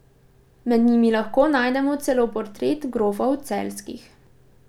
Med njimi lahko najdemo celo portrete grofov Celjskih.